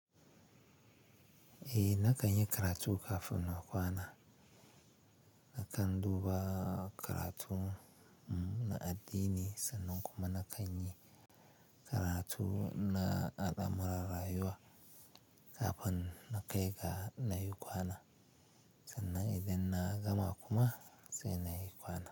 Eh na kan yi karatu kafin na kwana. Na kan duba karatu na addini sannan kuma na kan yi karatu na adama rarayuwa kafin na kai ga na yi kwana. Sannan idan na gama kuma sai na yi kwana.